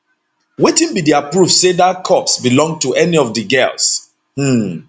wetin be dia proof say dat corpse belong to any of di girls um